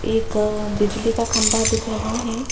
एक बिजली का खंबा दिख रहा है।